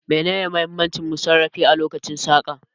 Menene muhimmin masarrafi a lokacin saƙa